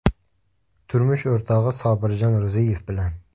Turmush o‘rtog‘i Sobirjon Ro‘ziyev bilan.